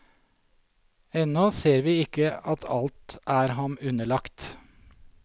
Ennå ser vi ikke at alt er ham underlagt.